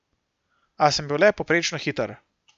A sem bil le povprečno hiter.